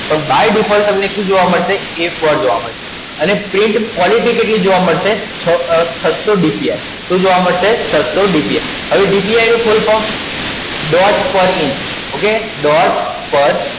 By Default તમને શું જોવા મળશે? A ચાર જોવા મળશે. અને Print Quality કેટલી જોવા મળશે? છસ્સો DPI શું જોવા મળશે? છસ્સો DPI હવે DPI નું Full Form Dot per Inch Okay Dot per